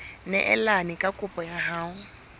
neelane ka kopo ya hao